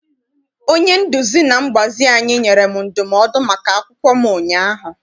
Onye nduzi na mgbazi anyị nyere m ndụmọdụ maka akwụkwọ m ụnyaahụ.